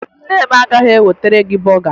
Nne m agaghị ewetere gị bọga